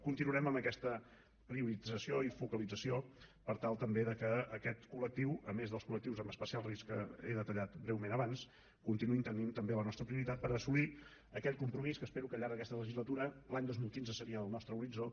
continuarem amb aquesta priorització i focalització per tal també que aquest collectius en especial risc que he detallat breument abans continuï tenint també la nostra prioritat per assolir aquell compromís que espero que al llarg d’aquesta legislatura l’any dos mil quinze seria el nostre horitzó